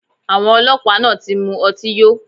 Awọn ọlọpa naa ti mu ọti yo